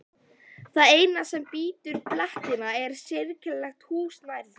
Það eina sem brýtur fletina er sérkennilegt hús nær þeim.